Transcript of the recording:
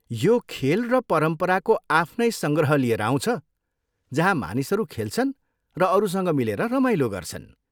यो खेल र परम्पराको आफ्नै सङ्ग्रह लिएर आउँछ जहाँ मानिसहरू खेल्छन् र अरूसँग मिलेर रमाइलो गर्छन्।